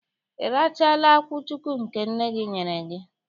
Ị rachaala akwụchukwu nke nne gị nyere gị?